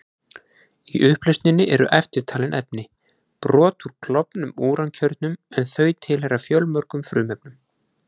Í upplausninni eru eftirtalin efni: Brot úr klofnum úrankjörnum, en þau tilheyra fjölmörgum frumefnum.